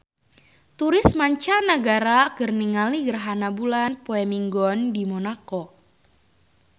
Turis mancanagara keur ningali gerhana bulan poe Minggon di Monaco